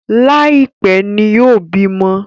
Laipẹ ní yóò bímọ